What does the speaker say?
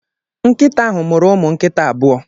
Nkịta ahụ mụrụ ụmụ nkịta abụọ.